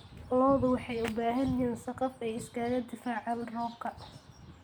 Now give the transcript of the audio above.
Lo'du waxay u baahan yihiin saqaf ay iskaga difaacaan roobka.